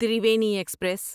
Triveni express